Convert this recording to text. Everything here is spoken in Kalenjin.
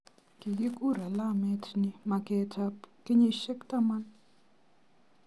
Kikikur alamet ni " maket ab kenyisiek taman".